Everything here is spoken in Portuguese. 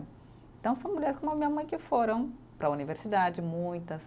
Então são mulheres como a minha mãe que foram para a universidade, muitas.